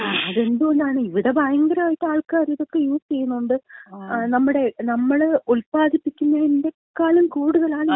അത് എന്തുകൊണ്ടാണ്? ഇവിട ഭയങ്കരായിട്ട് ആൾക്കാര് ഇതൊക്കെ യൂസ് ചെയ്യുന്നുണ്ട്. നമ്മടെ, നമ്മള് ഉത്പാദിപ്പിക്കുന്നതിന്‍റെക്കാളും കൂടുതലാണ് ഇവിടത്തെ ചെലവ് എന്ന് പറയുന്നേ